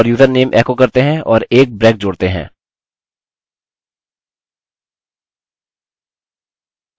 fullname सब एको करने पर यह सब यहाँ टाइप हो जाएगा